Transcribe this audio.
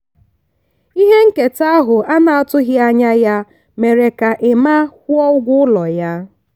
ihe nketa ahụ a na-atụghị anya ya mere ka emma kwụọ ụgwọ ụlọ ya.